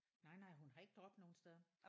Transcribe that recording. Nej nej hun har ikke drop nogen steder